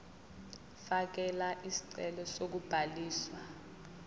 fakela isicelo sokubhaliswa